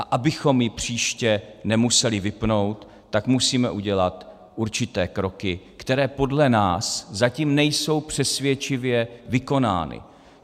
A abychom ji příště nemuseli vypnout, tak musíme udělat určité kroky, které podle nás zatím nejsou přesvědčivě vykonány.